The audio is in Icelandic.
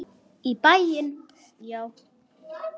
Í bæinn, já!